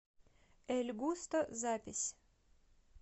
эль густо запись